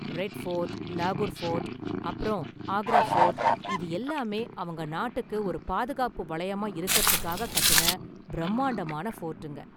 Red fort, லாகூர் fort அப்பறம் Agra fort இது எல்லாமே அவங்க நாட்டுக்கு ஒரு பாதுகாப்பு வளையமா இருக்குறதுக்காக கட்டுன பிரம்மாண்டமான ஃபோர்ட்டுங்க.